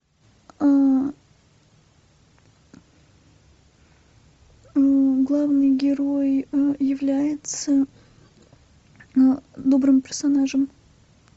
главный герой является добрым персонажем